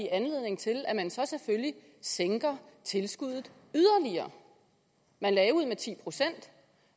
anledning til at man så selvfølgelig sænker tilskuddet yderligere man lagde ud med ti procent